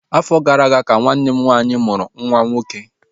Afọ gara aga ka nwanne m nwaanyị mụrụ nwa nwoke